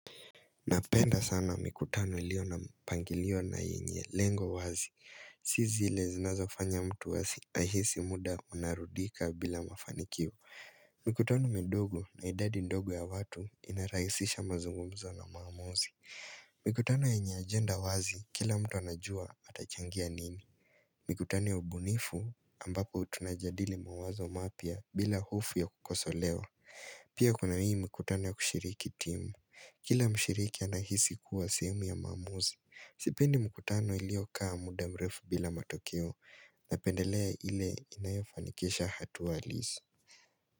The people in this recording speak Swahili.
Napenda sana mikutano ilio mpangilio na yenye lengo wazi Si zile zinazo fanya mtu ahisi muda unarudika bila mafanikio Mikutano midogo na idadi ndogo ya watu inarahisisha mazungumzo na maamuzi Mikutano yenye agenda wazi kila mtu anajua atachangia nini Mikutano ya ubunifu ambapo tunajadili mawazo mapya bila hofu ya kukosolewa Pia kuna hii mikutano ya kushiriki timu Kila mshiriki anahisi kuwa sehemu ya maamuzi Sipendi mkutano iliokaa muda mrefu bila matokeo Napendelea ile inayofanikisha hatua halisi.